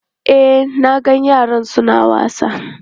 E, na ga yaran su na wasa.